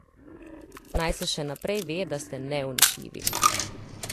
Naj se še naprej ve, da ste neuničljivi.